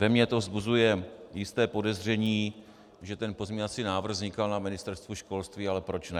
Ve mně to vzbuzuje jisté podezření, že ten pozměňovací návrh vznikal na Ministerstvu školství, ale proč ne.